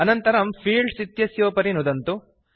अनन्तरं फील्ड्स् इत्यस्योपरि नुदन्तु